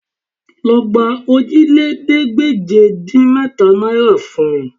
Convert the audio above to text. Lọ gba òjìlélẹ́ẹ̀ẹ́dégbèje-dín-mẹ́ta náìrà fún mi